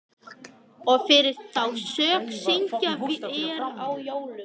Og fyrir þá sök syngjum vér á jólum